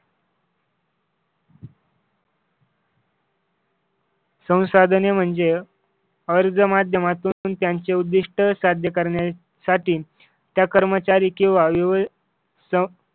संसाधने म्हणजे अर्ज माध्यमातून त्यांचे उद्दिष्ट साध्य करण्या साठी त्या कर्मचारी किंवा विवी ध